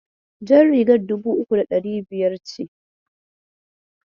Jar rigar dubu uku da ɗari biyar ce.